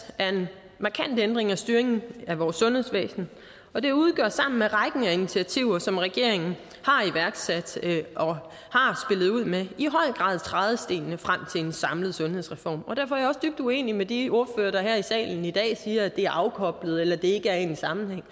er en markant ændring af styringen af vores sundhedsvæsen og den udgør sammen med rækken af initiativer som regeringen har iværksat og ud med i høj grad trædestenene frem til en samlet sundhedsreform og derfor er jeg også dybt uenig med de ordførere der her i salen i dag siger at det er afkoblet eller at det ikke er i en sammenhæng